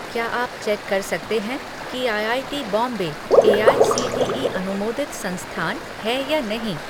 क्या आप चेक कर सकते हैं कि आईआईटी बॉम्बे एआईसीटीई अनुमोदित संस्थान है या नहीं?